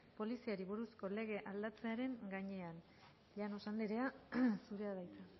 poliziari buruzko legea aldatzearen gainean llanos andrea zurea da hitza